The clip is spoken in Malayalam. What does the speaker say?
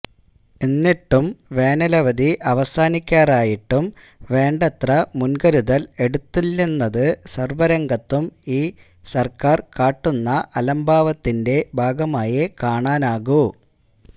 എന്നിട്ടും വേനലവധി അവസാനിക്കാറായിട്ടും വേണ്ടത്ര മുന്കരുതല് എടുത്തില്ലെന്നത് സര്വരംഗത്തും ഈ സര്ക്കാര് കാട്ടുന്ന അലംഭാവത്തിന്റെ ഭാഗമായേ കാണാനാകൂ